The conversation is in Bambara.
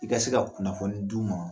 I ka se ka kunnafoni d'u ma